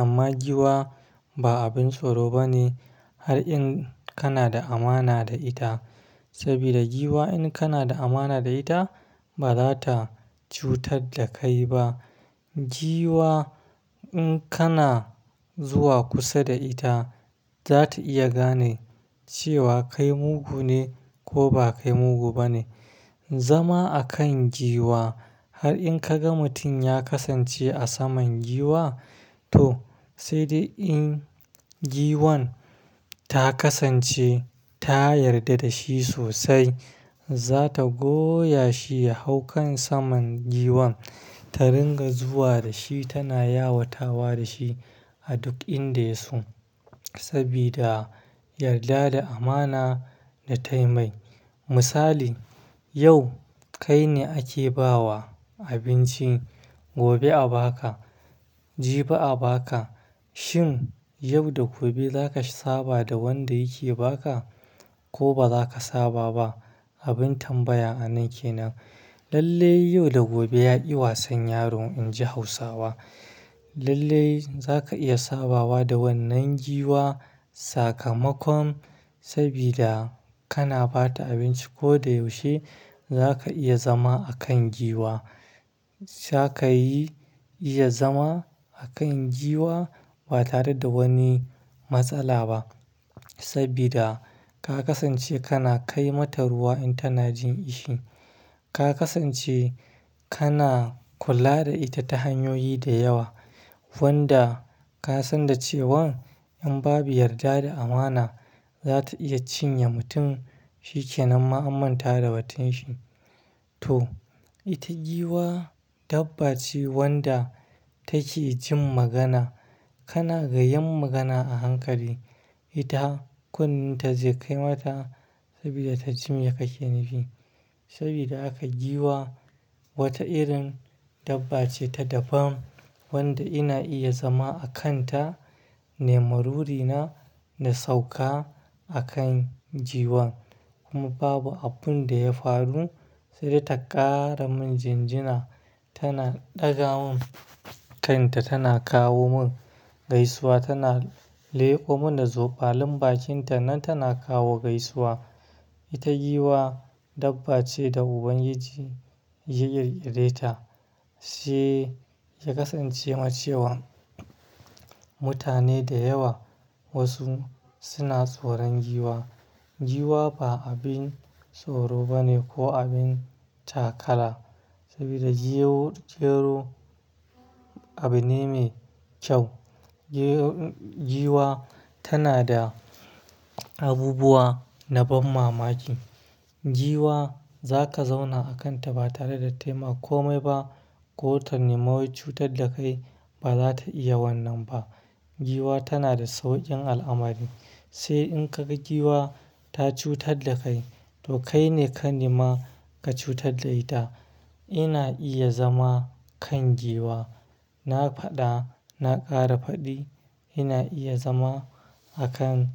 amma giwa ba abin tsoro ba ne har in kana da amana da ita sabida giwa in kana da amana da ita ba za ta cutar da kai ba. Giwa in kana zuwa kusa da ita za ta iya gane cewa kai mugu ne ko ba kai mugu ba ne. Zama akan giwa har in ka ga mutum ya kasance a saman giwa to sai dai in giwan ta kasance ta yarda da shi sosai. Za ta goya shi ya hau kan saman giwan ta ringa zuwa da shi tana yawatawa da shi a duk inda ya su sabida yarda da amana da tayi mai. Misali, yau kai ne ake ba wa abinci, gobe a baka, jibi a baka. Shin yau da gobe za ka saba da wanda yake ba ka ko ba za ka saba ba? Abin tambaya a nan kenan. Lallai yau da gobe ya iya wasan yaro in ji Hausawa. Lallai za ka iya sabawa da wannan giwa sakamakon sabida kana ba ta abinci ko da yaushe za ka iya zama a kan giwa. Za ka yi iya zama a kan giwa ba tare da wani matsala ba sabida ka kasance kana kai mata ruwa in tana jin ishi. Ka kasance kana kula da ita ta hanyoyi da yawa wanda ka san da cewan in babu yarda da amana za ta iya cinye mutum shikenan ma amanta da batun shi. To, ita giwa dabba ce wanda take jin magana. Kana gayyan magana a hankali ita kunnenta zai kai mata sabida ta ji mai ka ke nufi. Sabida haka giwa wata irin dabba ce ta daban wanda ina iya zama a kan ta nemarori na, na sauka a kan giwan kuma babu abun da ya faru sai dai ta ƙara min jinjina tana ɗaga mun kan ta tana kawo mun gaisuwa tana leƙo mun da zobalin bakin ta nan tana kawo gaisuwa. Ita giwa dabba ce da Ubangiji ya yaryareta shiyya ya kasance ma cewa mutane da yawa wasu suna tsoron giwa. Giwa ba abin tsoro ba ne ko abin takara sabida jero, jero abu ne mai kyau. Giwa tana da abubuwa na ban mamaki. Giwa za ka zauna a kan ta ba tare da tayi ma kome ba ko ta nema wai cutar da kai ba za ta iya wannan ba. Giwa tana da sauƙin al'amari. Sai in ka ga giwa ta cutar da kai to kai ne ka nema ka cutar da ita. Ina iya zama kan giwa. Na faɗa, na ƙara faɗi ina iya zama a kan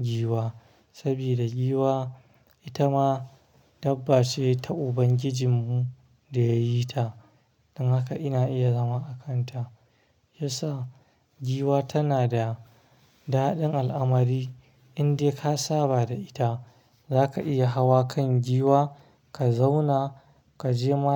giwa sabida giwa ita ma dabba ce ta Ubangijinmu da ya yi ta. Don haka ina iya zama a kan ta. Yasa giwa tana da daɗin al'amari in dai ka saba da ita. Za ka iya hawa kan giwa, ka zauna, ka je ma.